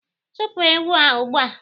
Chụpụ ewu a ugbua!.